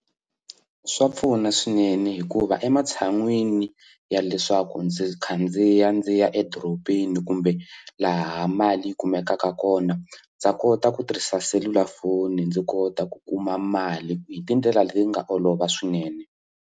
Swa pfuna swinene hikuva ematshan'wini ya leswaku ndzi khandziya ndzi ya edorobeni kumbe laha mali yi kumekaka kona ndza kota ku tirhisa selulafoni ndzi kota ku kuma mali hi tindlela leti nga olova swinene.